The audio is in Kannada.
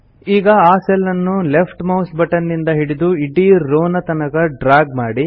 ಈಗ ಆ ಸೆಲ್ ಅನ್ನು ಲೆಫ್ಟ್ ಮೌಸ್ ಬಟನ್ ನಿಂದ ಹಿಡಿದು ಇಡೀ ರೋವ್ ತನಕ ಡ್ರಾಗ್ ಮಾಡಿ